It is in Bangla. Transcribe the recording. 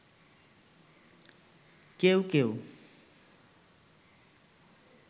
কেউ কেউ